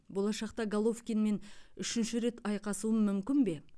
болашақта головкинмен үшінші рет айқасуым мүмкін бе